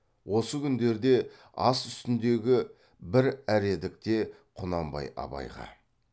осы күндерде ас үстіндегі бір әредікте құнанбай абайға